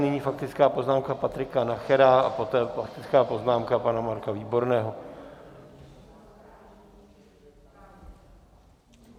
Nyní faktická poznámka Patrika Nachera a poté faktická poznámka pana Marka Výborného.